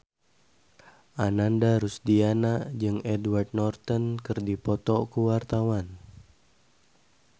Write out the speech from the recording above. Ananda Rusdiana jeung Edward Norton keur dipoto ku wartawan